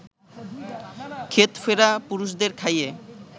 ক্ষেত ফেরা পুরুষদের খাইয়ে